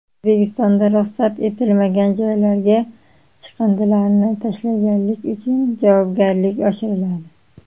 O‘zbekistonda ruxsat etilmagan joylarga chiqindilarni tashlaganlik uchun javobgarlik oshiriladi.